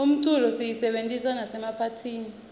umculo siyisebentisa nasemaphathini